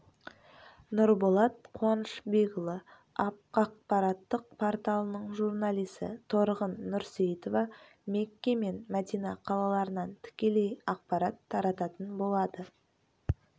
нұрболат қуанышбекұлы ақпараттық порталының журналисі торғын нұрсейтова мекке мен мәдина қалаларынан тікелей ақпарат тарататын болады